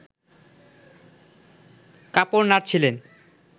কাপড় নাড়ছিলেন